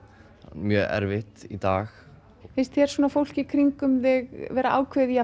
mjög erfitt í dag finnst þér fólk í kringum þig vera ákveðið í